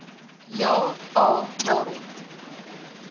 ja a waarom